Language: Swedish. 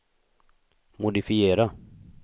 modifiera